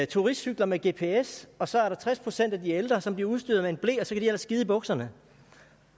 turistcykler med gps og så er der tres procent af de ældre som bliver udstyret med en ble og så kan de ellers skide i bukserne